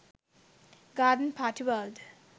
garden party world